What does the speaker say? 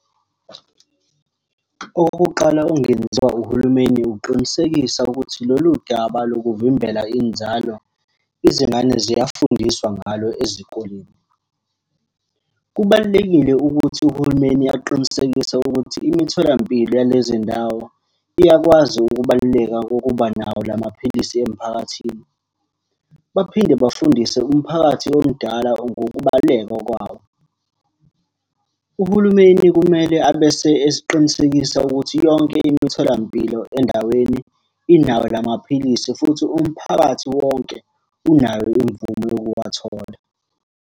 Okokuqala okungenziwa uhulumeni ukuqinisekisa ukuthi lolu daba lokuvimbela inzalo, izingane ziyafundiswa ngalo ezikoleni. Kubalulekile ukuthi uhulumeni aqinisekise ukuthi imitholampilo yalezi ndawo iyakwazi ukubaluleka kokuba nawo la maphilisi emphakathini. Baphinde bafundise umphakathi omdala ngokubaluleka kwawo. Uhulumeni kumele abese esiqinisekisa ukuthi yonke imitholampilo endaweni inawo la maphilisi, futhi umphakathi wonke unayo imvume yokuwathola.